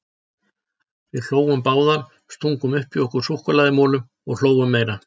Við hlógum báðar, stungum upp í okkur súkkulaðimolum og hlógum meira.